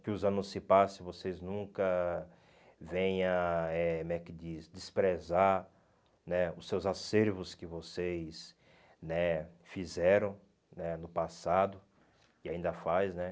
Que os anos se passem e vocês nunca venha eh, como é que diz, desprezar né os seus acervos que vocês fizeram né no passado e ainda faz né.